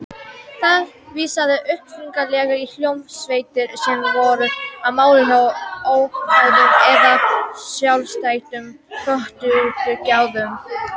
Það vísaði upprunalega í hljómsveitir sem voru á mála hjá óháðum eða sjálfstæðum plötuútgáfum.